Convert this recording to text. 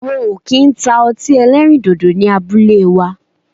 Wọn o ki n ta ọti ẹlẹrindodo ni abule wa